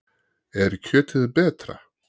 Er kjötið betra?